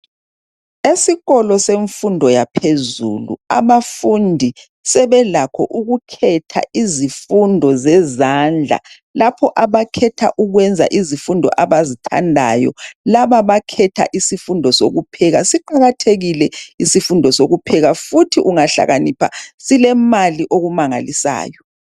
Esikolo semfundo yaphezulu abafundi sebelakho ukukhetha izifundo zezandla lapho abakhetha ukwenza izifundo abazithandayo. Laba bakhetha izifundo zokupheka siqakathekile isifundo sokupheka futhi ungahlakanipha silemali okumangalisayo.